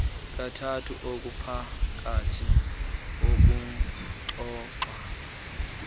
kathathu okuphakathi ekuxoxwa